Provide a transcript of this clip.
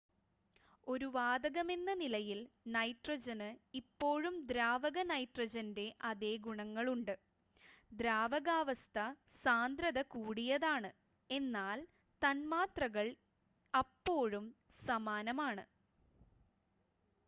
ഒരു വാതകമെന്ന നിലയിൽ നൈട്രജന് ഇപ്പോഴും ദ്രാവക നൈട്രജൻ്റെ അതേ ഗുണങ്ങളുണ്ട് ദ്രാവകാവസ്ഥ സാന്ദ്രത കൂടിയതാണ് എന്നാൽ തന്മാത്രകൾ അപ്പോഴും സമാനമാണ്